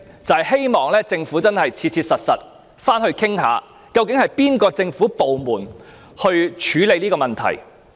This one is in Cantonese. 我希望政府能切實展開討論，究竟應由哪個政府部門處理這問題。